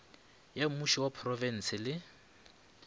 ya mmušo wa profense le